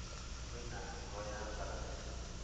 Kwĩna heho ya barabu